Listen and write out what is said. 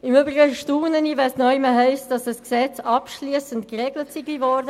Im Übrigen staune ich, wenn es heisst, ein Gesetz sei etwas abschliessend geregelt worden.